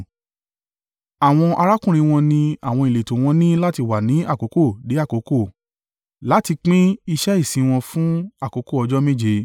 Àwọn arákùnrin wọn ní àwọn ìletò wọn ní láti wá ní àkókò dé àkókò láti pín iṣẹ́ ìsìn wọn fún àkókò ọjọ́ méje.